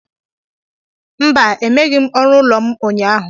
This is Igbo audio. Mba, emeghịm ọrụ ụlọ m ụnyaahụ